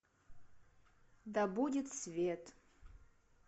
да будет свет